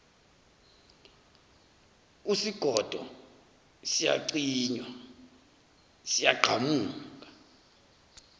usigodo siyacinywa siyagqamuka